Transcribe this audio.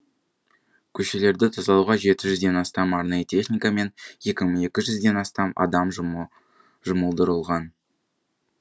көшелерді тазалауға жеті жүзден астам арнайы техника мен екі мың екі жүзден астам адам жұмылдырылған